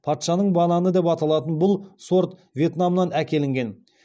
патшаның бананы деп аталатын бұл сорт вьетнамнан әкелінген